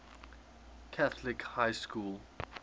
catholic high school